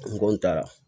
N ko n ta